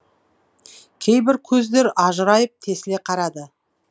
кейбір көздер ажырайып тесіле қарады